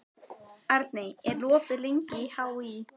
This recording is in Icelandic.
Arney, hvað er opið lengi í HÍ?